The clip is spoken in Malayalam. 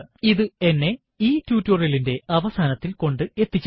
ഇത് എന്നെ ഈ ടുടോരിയലിന്റെ അവസാനത്തിൽ കൊണ്ട് എത്തിച്ചിരിക്കുന്നു